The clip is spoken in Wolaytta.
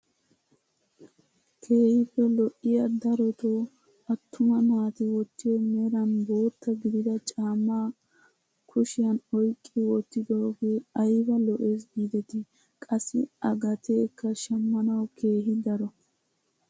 Keehippe lo"iyaa darotoo attuma naati wottiyoo meran bootta gidida caammaa kshiyaan oyqqi wottidogee ayba lo"ees gidetii, qassi a gateekka shammawu keehi daro.